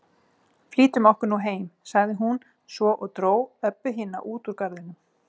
Flýtum okkur nú heim, sagði hún svo og dró Öbbu hina út úr garðinum.